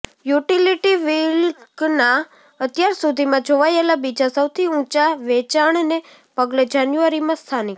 utility વ્હિકલના અત્યાર સુધીમાં જોવાયેલા બીજા સૌથી ઊંચા વેચાણને પગલે જાન્યુઆરીમાં સ્થાનિક